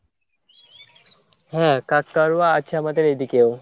হ্যাঁ কাকতাড়ুয়া আছে আমাদের এই দিকেও।